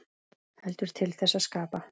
Heldur til þess að skapa.